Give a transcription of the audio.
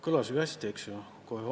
Kõlas ju hästi, eks ole!?